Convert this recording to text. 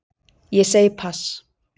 Ég segi pass.